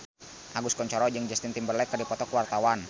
Agus Kuncoro jeung Justin Timberlake keur dipoto ku wartawan